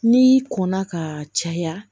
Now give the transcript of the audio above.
N'i kɔnna ka caya